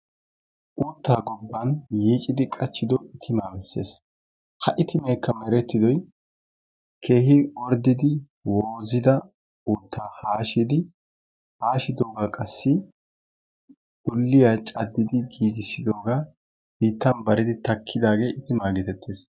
Uuttaa gobban yiicidi qachchido itimaa bessees. Ha itimaykka merettidoy keehin orddidi woozida uuttaa haashidi, haashidoogaa qassi ulliya caddidi giigissidoogaa biittan baridi takkidaagee itimaa geetettees.